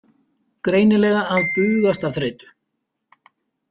Greinilega að bugast af þreytu.